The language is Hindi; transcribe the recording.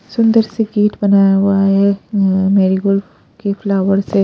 सुंदर से गेट बनाया हुआ है अ अ मेरी गोल्फ के फ्लावर से--